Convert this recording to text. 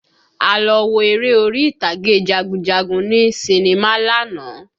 A lọ wo eré orí ìtàgé jagunjagun ní sinimá lánàá